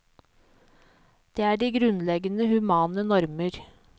Det er de grunnleggende humane normer.